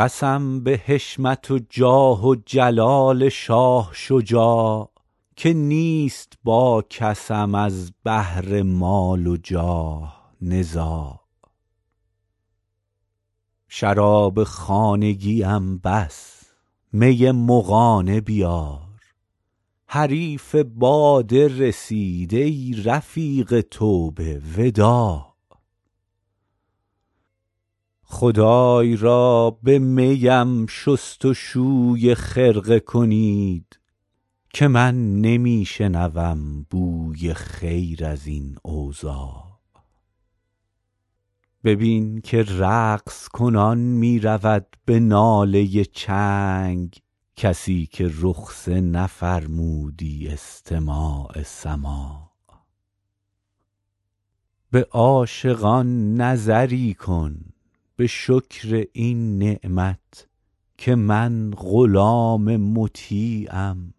قسم به حشمت و جاه و جلال شاه شجاع که نیست با کسم از بهر مال و جاه نزاع شراب خانگیم بس می مغانه بیار حریف باده رسید ای رفیق توبه وداع خدای را به می ام شست و شوی خرقه کنید که من نمی شنوم بوی خیر از این اوضاع ببین که رقص کنان می رود به ناله چنگ کسی که رخصه نفرمودی استماع سماع به عاشقان نظری کن به شکر این نعمت که من غلام مطیعم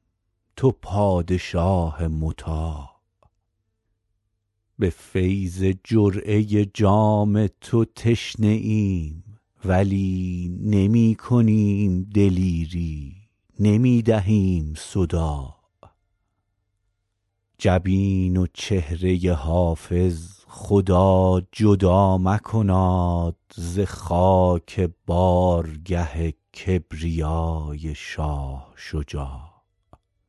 تو پادشاه مطاع به فیض جرعه جام تو تشنه ایم ولی نمی کنیم دلیری نمی دهیم صداع جبین و چهره حافظ خدا جدا مکناد ز خاک بارگه کبریای شاه شجاع